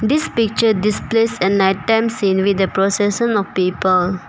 This picture displays a night time scene with a procession of people.